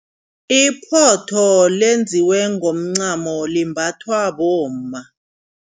Iphotho lenziwe ngomncamo limbathwa bomma.